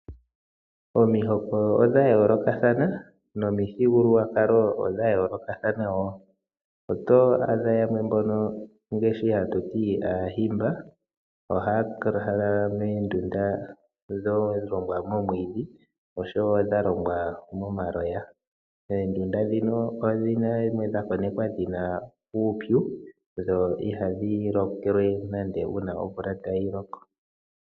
Omihoko odha yoolokathana nomithigululwakalo odha yoolokathana woo. Oto adha yamwe mbono ngaashi ha tu ti aahimba ohaya lala moondunda dha longwa moomwiidhi osho wo dha longwa momaloya. Oondunda ndhino odha konekwa dhi na uupyu, dho ihadhi lokele nande uuna omvula tayi loko.